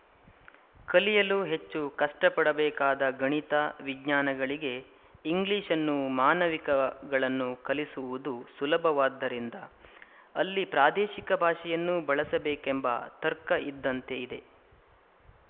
ಕಲಿಯಲು ಹೆಚ್ಚು ಕಷ್ಟಪಡಬೇಕಾದ ಗಣಿತ ವಿಜ್ಞಾನಗಳಿಗೆ ಇಂಗ್ಲಿಶನ್ನೂ ಮಾನವಿಕಗಳನ್ನು ಕಲಿಸುವುದು ಸುಲಭವಾದ್ದರಿಂದ ಅಲ್ಲಿ ಪ್ರಾದೇಶಿಕ ಭಾಷೆಯನ್ನೂ ಬಳಸಬೇಕೆಂಬ ತರ್ಕ ಇದ್ದಂತೆ ಇದೆ